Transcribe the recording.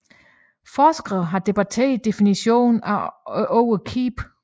Forskere har debatteret definitionen af ordet keep